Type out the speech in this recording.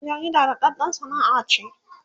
aikin jarida daɗaɗɗan Sana'a ce